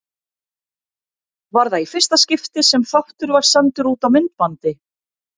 Var það í fyrsta skipti sem þáttur var sendur út á myndbandi.